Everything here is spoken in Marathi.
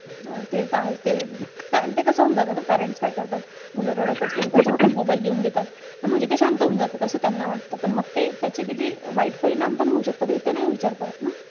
हां ते त आहे. ते~ ते कसं होऊन जातं न parents काय करतात, मुलं रडत असली कि ना त्यांच्या हातात mobile देऊन देतात. म्हणजे ते शांत होऊन जातात, असं त्यांना वाटतं. पण मग ते त्याचे किती वाईट परिणाम पण होऊन शकतात, हे ते नाही विचार करत ना.